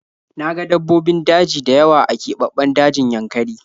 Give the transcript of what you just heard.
Na ga dabbobin daji dayawa a kebabben dajin yankari